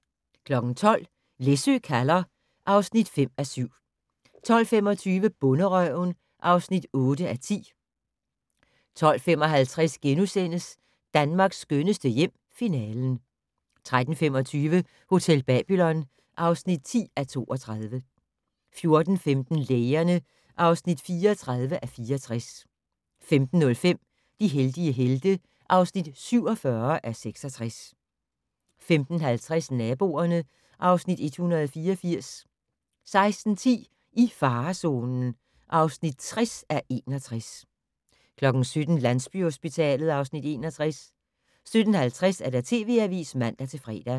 12:00: Læsø kalder (5:7) 12:25: Bonderøven (8:10) 12:55: Danmarks skønneste hjem - Finalen * 13:25: Hotel Babylon (10:32) 14:15: Lægerne (34:64) 15:05: De heldige helte (47:66) 15:50: Naboerne (Afs. 184) 16:10: I farezonen (60:61) 17:00: Landsbyhospitalet (Afs. 61) 17:50: TV Avisen (man-fre)